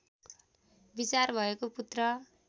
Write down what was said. विचार भएको पुत्र